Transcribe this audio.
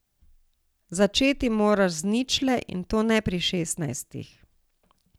Začeti moraš z ničle, in to ne pri šestnajstih.